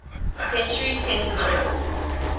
century census records